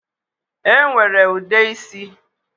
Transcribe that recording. E nwere ude isi